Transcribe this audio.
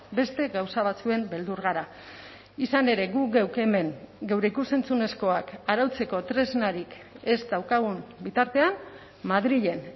beste gauza batzuen beldur gara izan ere guk geuk hemen geure ikus entzunezkoak arautzeko tresnarik ez daukagun bitartean madrilen